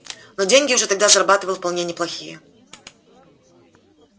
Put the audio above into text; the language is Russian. но деньги уже тогда зарабатывал вполне неплохие